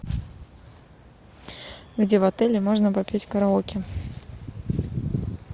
где в отеле можно попеть караоке